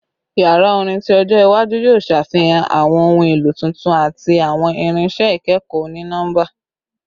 Yara orin ti ojo iwaju yoo ṣafihan awọn ohun elo tuntun ati awọn irinṣẹ ikẹkọ oni-nọmba